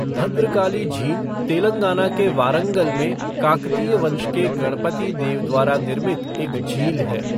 भद्रकाली झील तेलंगाना के वारंगल में काकतीय वंश के गणपति देव द्वारा निर्मित एक झील है।